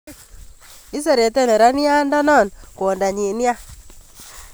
Iserete nerania ndonon kwondanyin nia